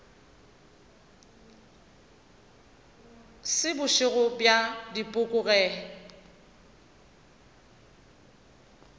se bošego bja dipoko ge